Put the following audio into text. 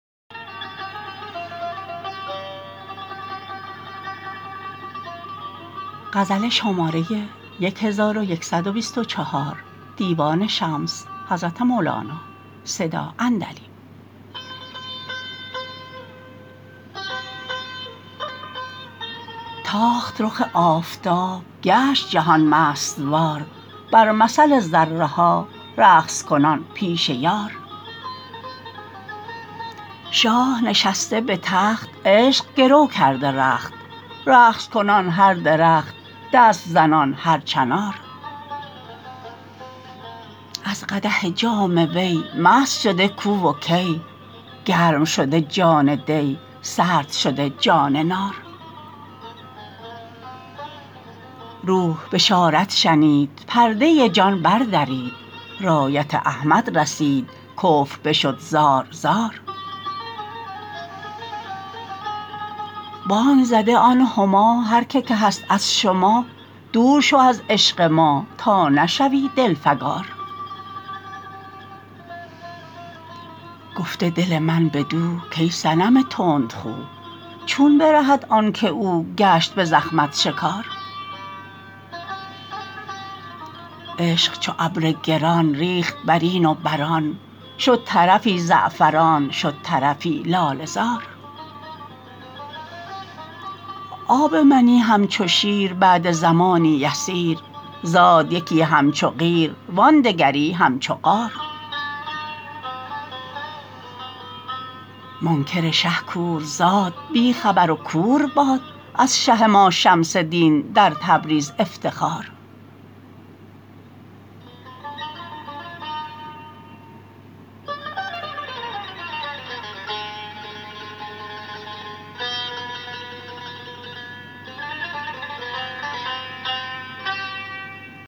تاخت رخ آفتاب گشت جهان مست وار بر مثل ذره ها رقص کنان پیش یار شاه نشسته به تخت عشق گرو کرده رخت رقص کنان هر درخت دست زنان هر چنار از قدح جام وی مست شده کو و کی گرم شده جام دی سرد شده جان نار روح بشارت شنید پرده جان بردرید رایت احمد رسید کفر بشد زار زار بانگ زده آن هما هر کی که هست از شما دور شو از عشق ما تا نشوی دلفکار گفته دل من بدو کای صنم تندخو چون برهد آن که او گشت به زخمت شکار عشق چو ابر گران ریخت بر این و بر آن شد طرفی زعفران شد طرفی لاله زار آب منی همچو شیر بعد زمانی یسیر زاد یکی همچو قیر وان دگری همچو قار منکر شه کور زاد بی خبر و کور باد از شه ما شمس دین در تبریز افتخار